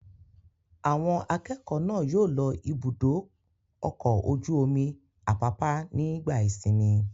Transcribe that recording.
Àwọn akẹ́kọ̀ọ́ náà yóò lọ Ibùdó-ọkọ̀ ojú-omi Àpápá nígbà ìsìnmi.